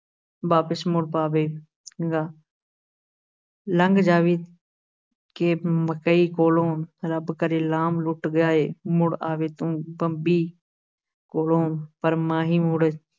ਵਾਪਿਸ ਮੁੜ ਪਵੇਗਾ ਲੰਘ ਜਾਵੀਂ ਕਿ ਮਕਈ ਕੋਲੋਂ, ਰੱਬ ਕਰੇ ਲਾਮ ਲੁੱਟ ਜਾਏ, ਮੁੜ ਆਵੇਂ ਤੂੰ ਬੰਬਈ ਕੋਲੋਂ, ਪਰ ਮਾਹੀ ਮੁੜ